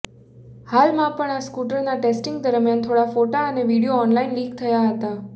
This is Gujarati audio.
હાલમાં પણ આ સ્કુટરના ટેસ્ટીંગ દરમિયાન થોડા ફોટા અને વિડીયો ઓનલાઈન લીક થયા છે